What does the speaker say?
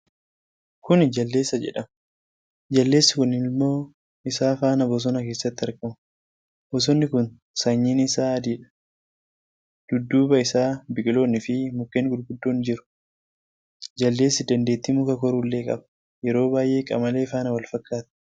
Kuni Jaldeessa jedhama. Jaldeessi kun ilmoo isaa faana bosona keessatti argama. Bosonni kun sanyiin isaa adiidha. dudduuba isaa biqiloonni fii mukkeen gurguddoon jiru. Jaldeessi dandeetti muka koruullee qaba. Yeroo baay'ee qamalee faana wal fakkaata.